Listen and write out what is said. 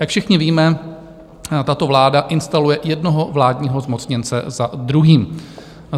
Jak všichni víme, tato vláda instaluje jednoho vládního zmocněnce za druhým.